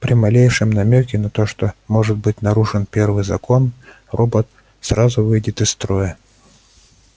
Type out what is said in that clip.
при малейшем намёке на то что может быть нарушен первый закон робот сразу выйдет из строя